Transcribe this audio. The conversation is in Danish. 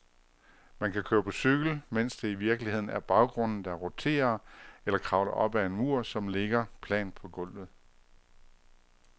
Man kan køre på cykel, mens det i virkeligheden er baggrunden, der roterer, eller kravle op ad en mur, som ligger plant på gulvet.